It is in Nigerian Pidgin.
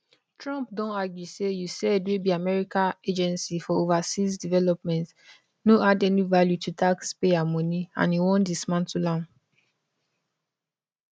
trump don argue say usaid wey be america agency for overseas development no add any value to taxpayer money and im wan dismantle am